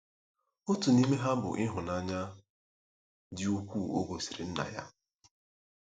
Otu n'ime ha bụ ịhụnanya dị ukwuu o gosiri Nna ya.